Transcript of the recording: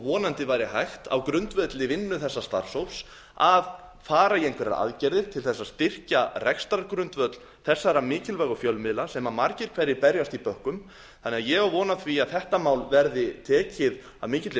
vonandi væri hægt á grundvelli vinnu þessa starfshóps að fara í einhverjar aðgerðir til þess að styrkja rekstrargrundvöll þessara mikilvægu fjölmiðla sem margir hverjir berjast í bökkum ég á því von á því að þetta mál verði tekið af mikilli